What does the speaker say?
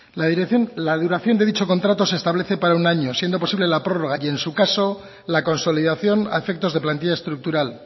la duración de dicho contrato se establece para un año siendo posible la prórroga y en su caso la consolidación a efectos de plantilla estructural